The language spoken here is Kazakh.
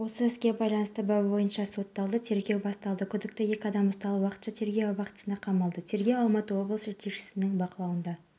мұнда серуенге келіп шағын маркеттен керек-жарағын сатып алады сондай-ақ шағын маркет директоры басқаларға үлгі болды